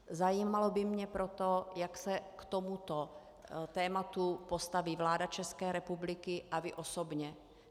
Zajímalo by mě proto, jak se k tomuto tématu postaví vláda České republiky a vy osobně.